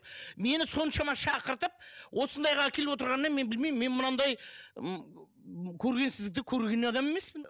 мені соншама шақыртып осындайға әкеліп отырғанына мен білмеймінмін мен мынандай ммм көргенсізді көрген адам емеспін